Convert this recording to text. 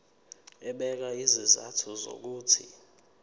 ebeka izizathu zokuthi